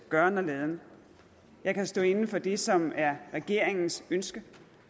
gøren og laden jeg kan stå inde for det som er regeringens ønske